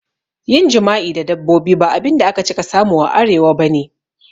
Yin jima'i da dabbobi ba abinda aka cika samu a Arewa bane